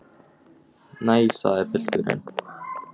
Nei, sagði pilturinn.